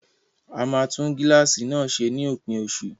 A máa tún gíláàsì náà ṣe ní òpin oṣù